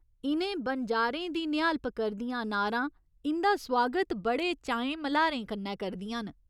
इ'नें बनजारें दी निहालप करदियां नारां इं'दा सुआगत बड़े चाएं मल्हारें कन्नै करदियां न।